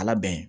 Ala bɛn